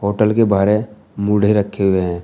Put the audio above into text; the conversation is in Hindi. होटल के बाहर मूड़े रखे हुए हैं।